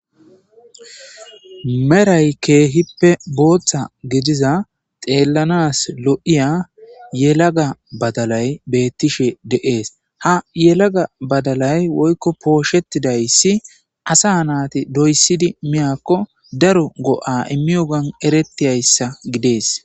meray keehippe booththa gidiza xeellanas lo'iya yelaga badalay bettishe de7ees ha yelaga badalay woykko pooshettidayssi asa naati doyssidi miyakko daro go7a immi o gan eretiyayssa gidees